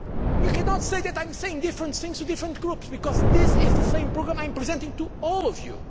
You cannot say that I am saying different things to different groups because this is the same programme I am presenting to all